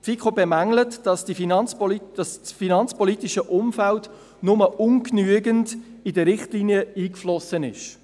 Die FiKo bemängelt, dass das finanzpolitische Umfeld nur ungenügend in die Richtlinien eingeflossen ist.